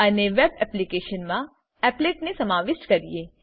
અને web application મા આ એપ્લેટ ને સમાવિષ્ઠ કરીએ